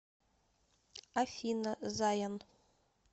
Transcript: афина заян